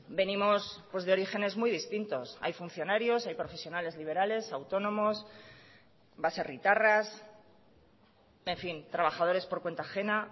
venimos de orígenes muy distintos hay funcionarios hay profesionales liberales autónomos baserritarras en fin trabajadores por cuenta ajena